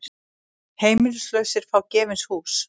Heimilislausir fá gefins hús